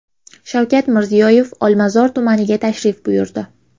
Shavkat Mirziyoyev Olmazor tumaniga tashrif buyurdi .